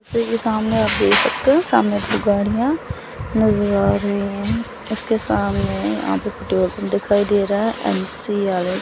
की सामने आप देख सकते हो सामने दो गाड़ियां नजर आ रही हैं इसके सामने यहां पे पेट्रोल पंप दिखाई दे रहा है।